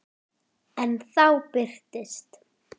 En þá birtist